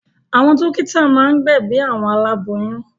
Àwọn dọ́kítá máa ń gbẹ̀bi àwọn aláboyún.